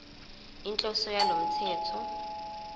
inhloso yalo mthetho